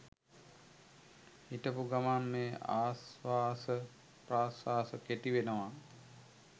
හිටපු ගමන් මේ ආශ්වාස ප්‍රශ්වාස කෙටි වෙනවා.